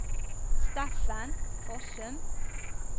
Steffen Fossum